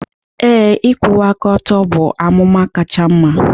Ee, ịkwụwa aka ọtọ bụ amụma kacha mma